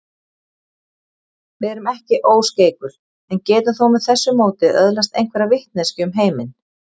Við erum ekki óskeikul en getum þó með þessu móti öðlast einhverja vitneskju um heiminn.